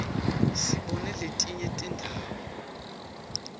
sibone letinye tindzawo